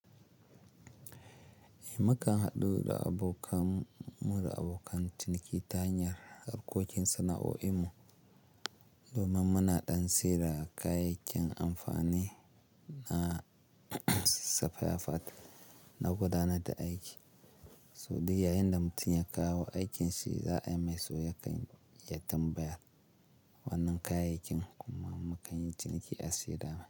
Eh, mukan haɗu da abokan mu da abokan ciniki ta hanyar harkokin sana'o'in mu. Domin muna ɗan saida kayayyakin amfani na sifaya fat na gudanar da aiki. So duk yayin da mutum ya kawo aikin shi za ai mai so ya kan iya tambaya wannan kayayyakin kuma mu kan yi ciniki a saida mai.